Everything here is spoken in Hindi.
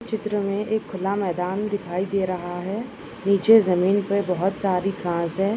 चित्र मे एक खुला मैदान दिखाई दे रहा है नीचे जमीन पर बहुत सारी घास है।